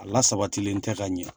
A la sabatilen tɛ ka ɲɛ